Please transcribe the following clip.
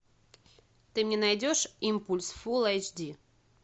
ты мне найдешь импульс фул айч ди